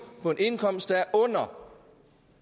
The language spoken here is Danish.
på en indkomst der er under